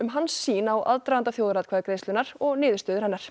hans sýn á aðdraganda þjóðaratkvæðagreiðslunnar og niðurstöður hennar